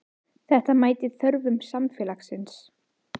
Þeir skyldu vernda þingmenn sína fyrir rangsleitni og halda uppi friði.